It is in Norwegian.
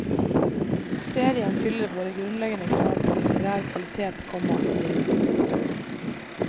Serien fyller våre grunnleggende krav til litterær kvalitet, komma sier hun. punktum